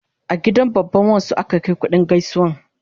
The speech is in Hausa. A gidan babban wan su aka Kai kuɗin gaisuwan